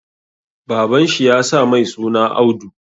Baban shi ya sa mai suna Audu